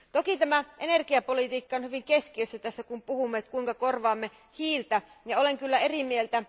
Toki tämä energiapolitiikka on hyvin keskeistä tässä, kun puhumme siitä, kuinka korvaamme hiiltä.